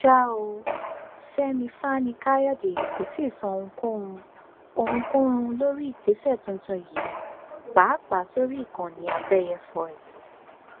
ṣá ò fẹmí fani káyọdé kò tí ì sọ ohunkóhun ohunkóhun lórí ìgbésẹ tuntun yìí pàápàá sórí ìkànnì àbẹyẹfọ ẹ